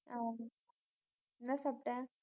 ஹம் என்ன சாப்பிட்ட